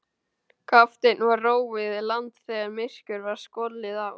Kafteini var róið í land þegar myrkur var skollið á.